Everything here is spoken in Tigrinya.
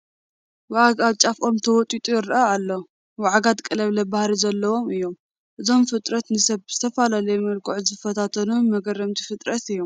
ወዓግ ኣብ ጫፍ ኦም ተወጢሑ ይርአ ኣሎ፡፡ ወዓጋት ቀለብላባ ባህሪ ዘለዎም እዮም፡፡ እዞም ፍጥረት ንሰብ ብዝተፈላለየ መልክዑ ዝፈታተኑ መግረምቲ ፍጥረት እዮም፡፡